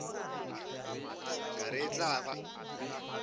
ka re e tla ba